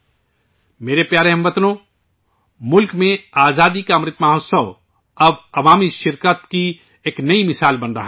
میرے پیارے ہم وطنو، ملک میں آزادی کا امرت مہوتسو ، اب عوامی شرکت کی نئی مثال بن رہا ہے